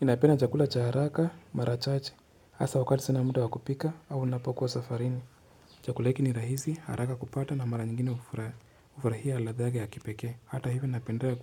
Ninapenda chakula cha haraka marachache hasa wakati sina muda wakupika au ninapokuwa safarini. Chakula hiki ni rahisi haraka kupata na mara nyingine ufurahia ladha yake ya kipekee. Hata hivyo ninapendea